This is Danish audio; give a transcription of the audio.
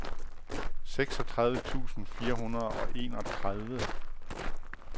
seksogtredive tusind fire hundrede og enogtredive